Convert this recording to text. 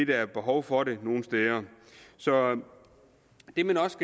der er behov for det nogle steder så det man også